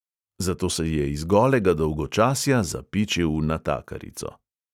Zato se je iz golega dolgočasja zapičil v natakarico.